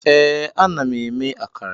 Ee, ana m eme akara